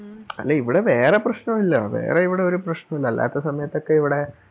അല്ലിവിടെ വേറെ പ്രശ്നോവില്ല വേറെ ഇവിടെയൊരു പ്രശ്നോല്ല അല്ലാത്തെ സമയത്തൊക്കെ ഇവിടെ